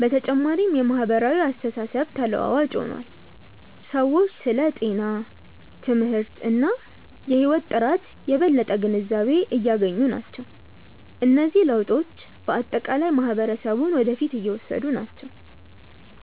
በተጨማሪም የማህበራዊ አስተሳሰብ ተለዋዋጭ ሆኗል፤ ሰዎች ስለ ጤና፣ ትምህርት እና የህይወት ጥራት የበለጠ ግንዛቤ እያገኙ ናቸው። እነዚህ ለውጦች በአጠቃላይ ማህበረሰቡን ወደ ፊት እየወሰዱ ናቸው።